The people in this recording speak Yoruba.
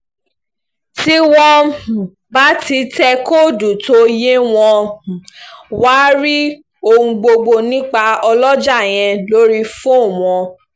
tí wọ́n um bá ti tẹ kọ́ọ̀dù tó yé wọn um máa rí ohun gbogbo nípa ọlọ́jà yẹn lórí fóònù wọn